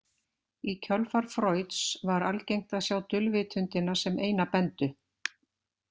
Í kjölfar Freuds var algengt að sjá dulvitundina sem eina bendu.